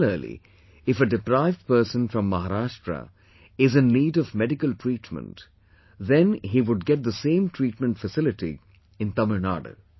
Similarly, if a deprived person from Maharashtra is in need of medical treatment then he would get the same treatment facility in Tamil Nadu